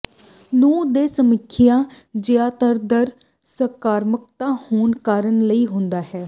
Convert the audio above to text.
ਨੂੰ ਦੇ ਸਮੀਖਿਆ ਜਿਆਦਾਤਰ ਸਕਾਰਾਤਮਕ ਹੋਣਾ ਕਰਨ ਲਈ ਹੁੰਦੇ ਹਨ